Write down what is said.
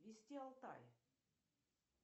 вести алтай